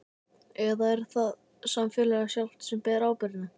Eða er það samfélagið sjálft sem ber ábyrgðina?